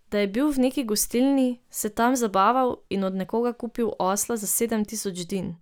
Da je bil v neki gostilni, se tam zabaval in od nekoga kupil osla za sedem tisoč din.